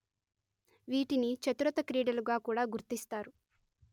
వీటిని చతురత క్రీడలుగా కూడా గుర్తిస్తారు